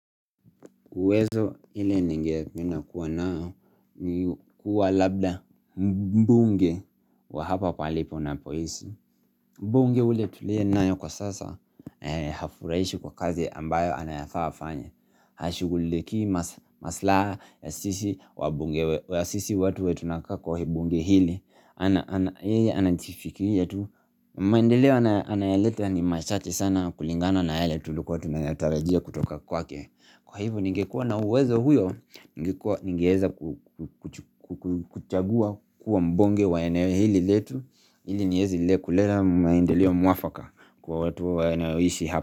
Uwezo ile ningependa kuwa nao ni kuwa labda mbunge wa hapa pahali napoishi. Mbunge ule tulie nayo kwa sasa hafuraishi kwa kazi ambayo anayafaa afanye. Hashughulikii maslaha ya sisi wabunge wa sisi watu wenye tunakaa kwa bunge hili. Yeye anajifikiria tu. Maendeleo anayoleta ni machache sana kulingana na yale tulikuwa tunayatarajia kutoka kwake. Kwa hivyo ningekuwa na uwezo huyo, ningeweza kuchagua kuwa mbunge wa eneo hili letu ili niweze kuleta maendeleo mwafaka kwa watu wanaoishi hapa.